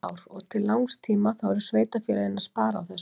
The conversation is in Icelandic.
Þar leggjast flærnar á heimilisfólk, bíta það og sjúga úr því blóð.